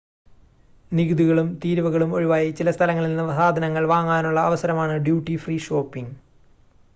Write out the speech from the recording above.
നികുതികളും തീരുവകളും ഒഴിവായി ചില സ്ഥലങ്ങളിൽനിന്ന് സാധനങ്ങൾ വാങ്ങാനുള്ള അവസരമാണ് ഡ്യൂട്ടി ഫ്രീ ഷോപ്പിംങ്